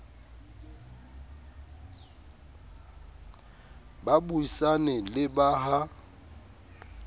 ba buisane le ba ha